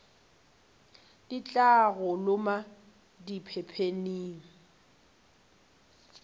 di tla go loma diphepheng